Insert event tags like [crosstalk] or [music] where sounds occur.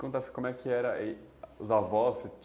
[unintelligible] Como é que eram os avós? [unintelligible]